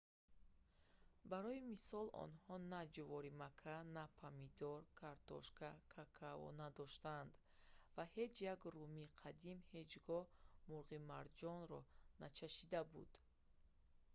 барои мисол онҳо на ҷуворимакка на помидор картошка какао надоштанд ва ҳеҷ як румии қадим ҳеҷ гоҳ мурғи марҷонро начашида буд